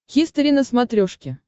хистори на смотрешке